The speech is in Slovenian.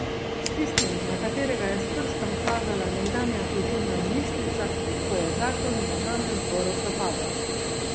S tistim, na katerega je s prstom kazala nekdanja kulturna ministrica, ko je zakon v državnem zboru propadel.